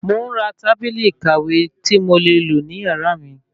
Mò ń ra tábìlì ìkàwé tí mo le lò ní yàrá mi